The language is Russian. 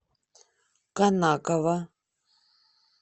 конаково